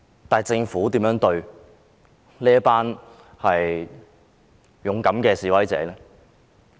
但是，政府如何對待這群勇敢的示威者？